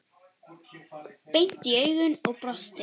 Beint í augun og brosti.